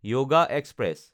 yoga express